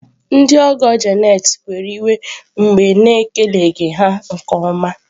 Ndị ọgọ Janet were iwe mgbe a na-ekeleghị ha nke ọma.